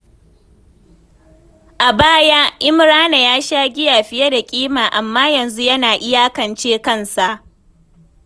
A baya, Imrana ya sha giya fiye da kima, amma yanzu yana iyakance kansa.